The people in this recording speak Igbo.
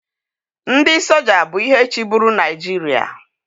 Ndị soja bụ ihe chịburu Naịjiria